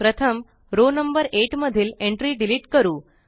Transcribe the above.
प्रथम row number 8 मधील entry delete करू